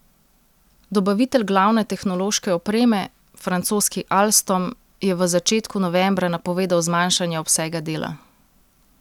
Dobavitelj glavne tehnološke opreme, francoski Alstom, je v začetku novembra napovedal zmanjšanje obsega dela.